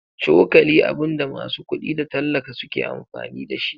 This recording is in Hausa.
Cokali abunda masu kuɗi da tallaka suke amfani dashi.